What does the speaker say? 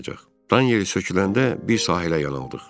Dan yeri söküləndə bir sahilə yan aldıq.